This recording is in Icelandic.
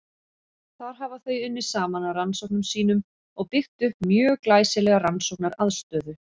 Þar hafa þau unnið saman að rannsóknum sínum og byggt upp mjög glæsilega rannsóknaraðstöðu.